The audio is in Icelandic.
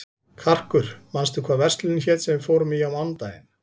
Karkur, manstu hvað verslunin hét sem við fórum í á mánudaginn?